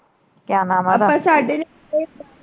ਕਿਆ ਨਾਮ ਆ ਓਹਦਾ ਸਾਡੇ।